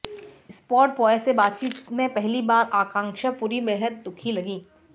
spot boy से बातचीत में पहली बार आकांक्षा पुरी बेहद दुखी लगीं